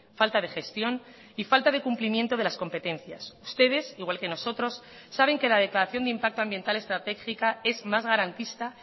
falta de gestión y falta de cumplimiento de las competencias ustedes igual que nosotros saben que la declaración de impacto ambiental estratégica es más garantista